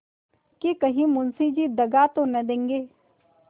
कि कहीं मुंशी जी दगा तो न देंगे